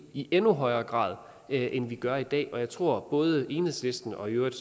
i endnu højere grad end vi gør i dag og jeg tror at både enhedslisten og i øvrigt